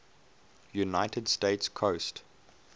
united states coast